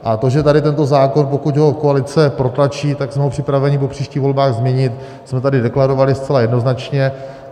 A to, že tady tento zákon, pokud ho koalice protlačí, tak jsme ho připraveni po příštích volbách změnit, jsme tady deklarovali zcela jednoznačně.